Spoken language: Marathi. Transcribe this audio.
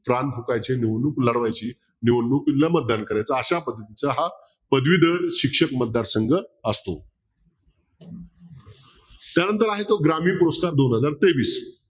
कान फुकायचे निवडणूक लढवायची निवडणुकीला मतदान करायचं अशा पद्धतीचा हा पदवीधर शिक्षक मतदारसंघ असतो त्यानंतर आहे तो ग्रामीण पुरस्कार दोन हजार तेवीस